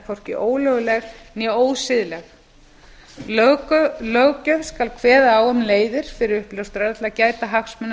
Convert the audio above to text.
hvorki ólögleg né ósiðleg löggjöf skal kveða á um leiðir fyrir uppljóstrara til að gæta hagsmuna